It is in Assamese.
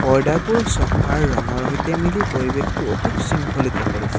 পৰ্দাবোৰ চ'ফাৰ ৰঙৰ সৈতে মিলি পৰিৱেশটো অতি সৃংখলিত কৰিছে।